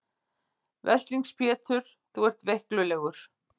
Veslings Pétur þú ert veiklulegur.